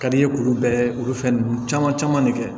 Ka di i ye k'olu bɛrɛ olu fɛn ninnu caman caman de kɛ